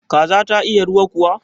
Kaza ta iya ruwa kuwa?